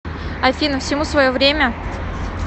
афина всему свое время